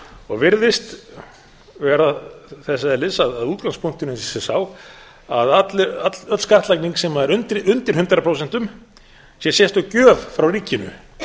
og virðist vera þess eðlis að útgangspunkturinn sé sá að öll skattlagning sem er undir hundrað prósent sé sérstök gjöf frá ríkinu